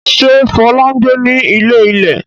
Ṣé Fọlá ń gbé ní ilé-ilẹ̀?